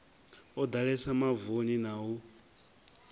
o ḓalesa mavuni na u